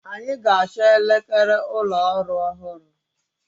Anyị ga-achọ elekere ụlọ ọrụ ọhụrụ.